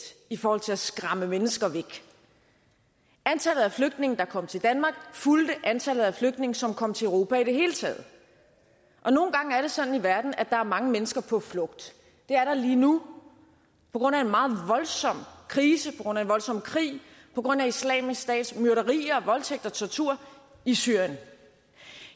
i forhold til at skræmme mennesker væk antallet af flygtninge der kom til danmark fulgte antallet af flygtninge som kom til europa i det hele taget nogle gange er det sådan i verden at der er mange mennesker på flugt det er der lige nu på grund af en meget voldsom krise på grund af en voldsom krig på grund af islamisk stats myrderier og voldtægt og tortur i syrien